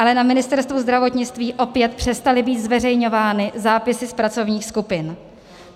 Ale na Ministerstvu zdravotnictví opět přestaly být zveřejňovány zápisy z pracovních skupin.